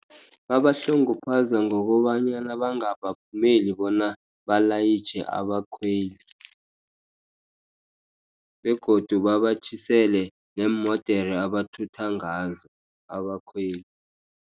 Babahlunguphaza ngokobanyana bangabavumelI bona balayitjhe abakhweli begodu babatjhisele neemodere abathutha ngazo abakhweli.